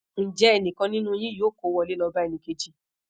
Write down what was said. nje enikan ninu yin yoo ko wole lo ba enikeji